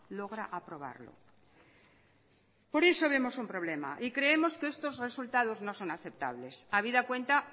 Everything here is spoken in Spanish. logra aprobarlo por eso vemos un problema y creemos que estos resultados no son aceptables habida cuenta